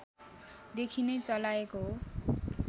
देखि नै चलाएको हो